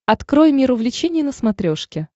открой мир увлечений на смотрешке